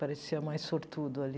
Parecia mais sortudo ali.